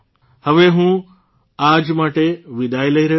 હવે હું આજ માટે વિદાય લઇ રહ્યો છું